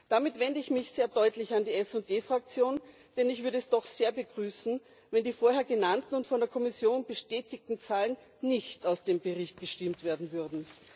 Damit wende ich mich sehr deutlich an die SD Fraktion, denn ich würde es doch sehr begrüßen, wenn die vorher genannten und von der Kommission bestätigten Zahlen nicht aus dem Bericht gestimmt werden würden.